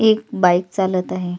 एक बाई चालत आहे.